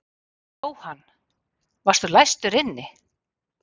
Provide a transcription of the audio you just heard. Jóhann: Varstu læstur inni?